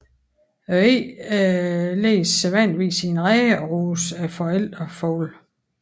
Æggene lægges sædvanligvis i en rede og ruges af forældrefuglene